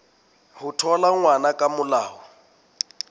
ho thola ngwana ka molao